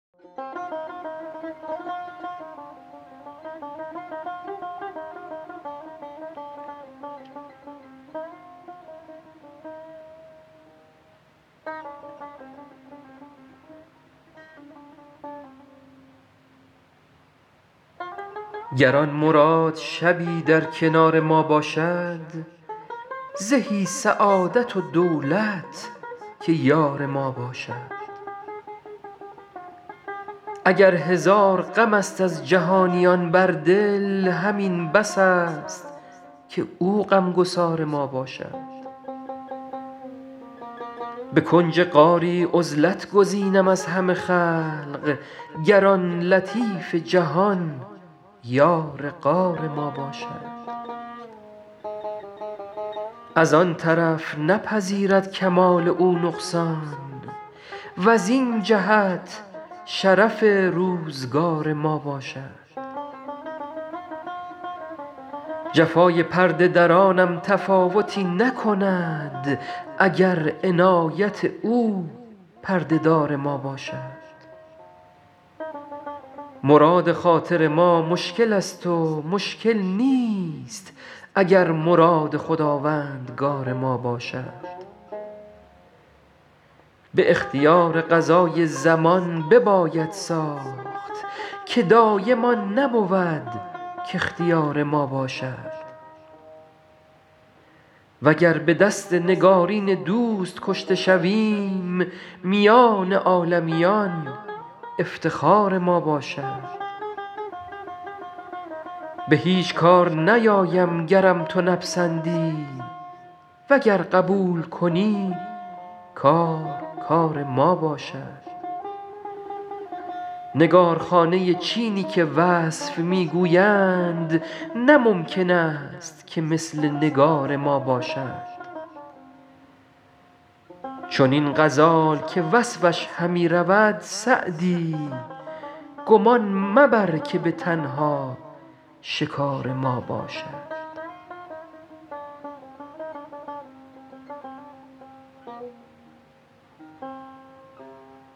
گر آن مراد شبی در کنار ما باشد زهی سعادت و دولت که یار ما باشد اگر هزار غم است از جهانیان بر دل همین بس است که او غم گسار ما باشد به کنج غاری عزلت گزینم از همه خلق گر آن لطیف جهان یار غار ما باشد از آن طرف نپذیرد کمال او نقصان وزین جهت شرف روزگار ما باشد جفای پرده درانم تفاوتی نکند اگر عنایت او پرده دار ما باشد مراد خاطر ما مشکل است و مشکل نیست اگر مراد خداوندگار ما باشد به اختیار قضای زمان بباید ساخت که دایم آن نبود کاختیار ما باشد وگر به دست نگارین دوست کشته شویم میان عالمیان افتخار ما باشد به هیچ کار نیایم گرم تو نپسندی وگر قبول کنی کار کار ما باشد نگارخانه چینی که وصف می گویند نه ممکن است که مثل نگار ما باشد چنین غزال که وصفش همی رود سعدی گمان مبر که به تنها شکار ما باشد